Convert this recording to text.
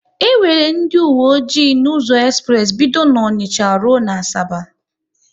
E nwere ndị owe ọjị n'ụzọ espress bido n'Onicha rụọ n'Asaba